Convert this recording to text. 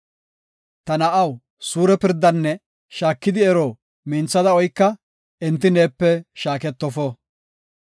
Ta na7aw, suure pirdanne shaakidi ero minthada oyka enti neepe shaaketofo.